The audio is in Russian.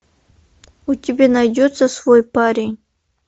у тебя найдется свой парень